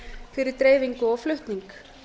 fyrir dreifingu og flutning